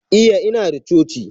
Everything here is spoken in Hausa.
Iya, Inada coci.